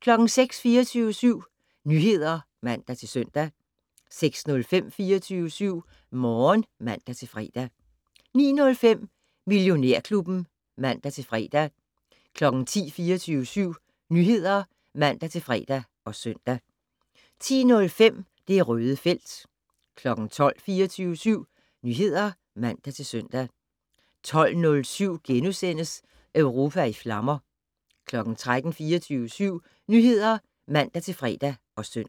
* 06:00: 24syv Nyheder (man-søn) 06:05: 24syv Morgen (man-fre) 09:05: Millionærklubben (man-fre) 10:00: 24syv Nyheder (man-fre og søn) 10:05: Det Røde felt 12:00: 24syv Nyheder (man-søn) 12:07: Europa i flammer * 13:00: 24syv Nyheder (man-fre og søn)